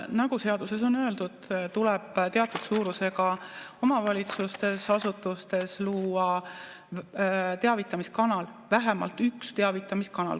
Nagu seaduses on öeldud, tuleb teatud suurusega omavalitsustes ja asutustes luua teavitamiskanal, vähemalt üks teavitamiskanal.